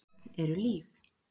Börn eru líf.